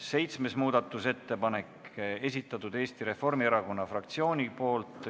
Seitsmes muudatusettepanek, esitanud Eesti Reformierakonna fraktsioon.